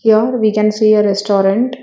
Here we can see a restaurant.